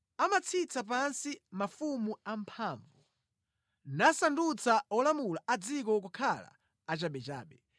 Amatsitsa pansi mafumu amphamvu nasandutsa olamula a dziko kukhala achabechabe.